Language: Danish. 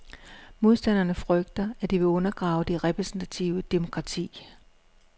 Modstanderne frygter, at det vil undergrave det repræsentative demokrati.